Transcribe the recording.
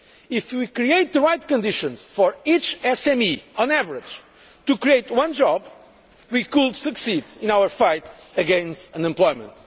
If we create the right conditions for each SME, on average, to create one job, we could succeed in our fight against unemployment.